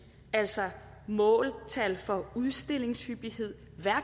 altså måltal for udstillingshyppighed og